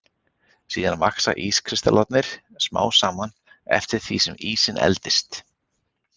Síðan vaxa ískristallarnir smám saman eftir því sem ísinn eldist.